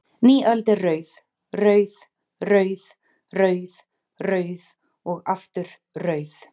Ný öld er rauð, rauð, rauð, rauð, rauð og aftur rauð?